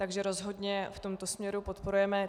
Takže rozhodně v tomto směru podporujeme.